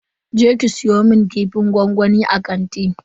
Je ki siyo mun kifin gwangwamin a kanti.